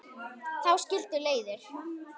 Þá skildu leiðir.